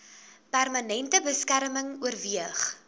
permanente beskerming oorweeg